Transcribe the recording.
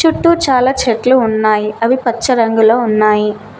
చుట్టూ చాలా చెట్లు ఉన్నాయి అవి పచ్చ రంగులో ఉన్నాయి.